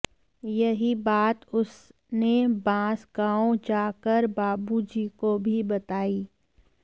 यही बात उस ने बांसगांव जा कर बाबू जी को भी बताई